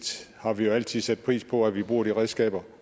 har vi jo altid sat pris på at vi bruger de redskaber